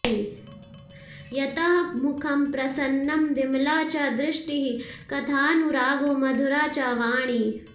यतः मुखं प्रसन्नं विमला च दृष्टिः कथानुरागो मधुरा च वाणी